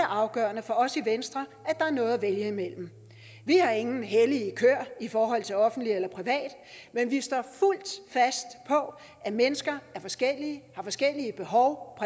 afgørende for os i venstre at der er noget at vælge imellem vi har ingen hellige køer i forhold til offentligt eller privat men vi står fuldt fast på at mennesker er forskellige og har forskellige behov